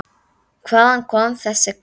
Hvaðan kom þessi kall?